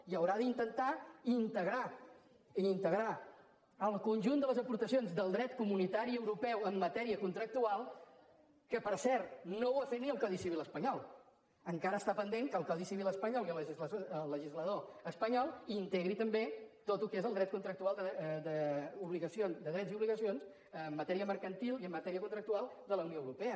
i haurà d’intentar integrar integrar el conjunt de les aportacions del dret comunitari europeu en matèria contractual que per cert no ho ha fet ni el codi civil espanyol encara està pendent que el codi civil espanyol i el legislador espanyol integrin també tot el que és el dret contractual de drets i obligacions en matèria mercantil i en matèria contractual de la unió europea